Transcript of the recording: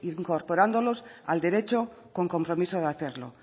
incorporándolos al derecho con compromiso de hacerlo